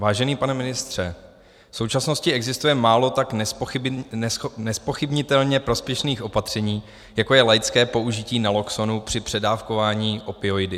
Vážený pane ministře, v současnosti existuje málo tak nezpochybnitelně prospěšných opatření, jako je laické použití Naloxonu při předávkování opioidy.